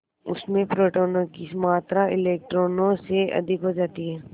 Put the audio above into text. उसमें प्रोटोनों की मात्रा इलेक्ट्रॉनों से अधिक हो जाती है